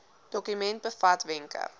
dokument bevat wenke